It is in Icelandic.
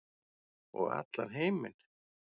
Og allan heiminn.